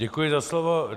Děkuji za slovo.